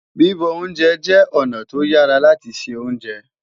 bibọ oúnjẹ jé ọna to yàrá láti ṣé ounjẹ